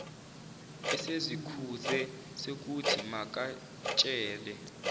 esezikhuze sekuthi makatshele